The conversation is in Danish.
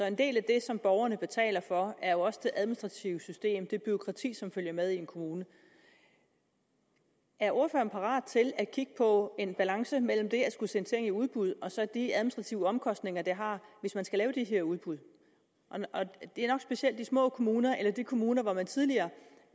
en del af det som borgerne betaler for er jo også det administrative system det bureaukrati som følger med i en kommune er ordføreren parat til at kigge på en balance mellem det at skulle sende ting i udbud og så de administrative omkostninger det har hvis man skal lave de her udbud det er nok specielt i de små kommuner eller i de kommuner hvor man tidligere